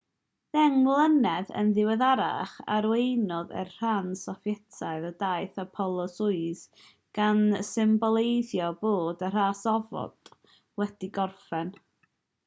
ddeng mlynedd yn ddiweddarach arweiniodd e'r rhan sofietaidd o daith apollo-soyuz gan symboleiddio bod y ras ofod wedi gorffen